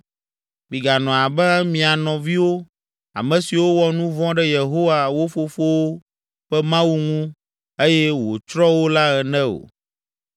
Miganɔ abe mia nɔviwo, ame siwo wɔ nu vɔ̃ ɖe Yehowa, wo fofowo ƒe Mawu ŋu eye wòtsrɔ̃ wo la ene o.